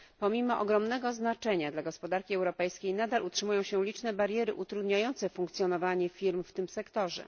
Pomimo ogromnego znaczenia dla gospodarki europejskiej nadal utrzymują się liczne bariery utrudniające funkcjonowanie firm w tym sektorze.